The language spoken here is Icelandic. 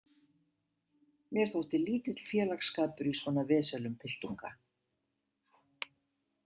Mér þótti lítill félagsskapur í svo vesölum piltunga.